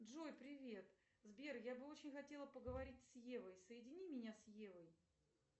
джой привет сбер я бы очень хотела поговорить с евой соедини меня с евой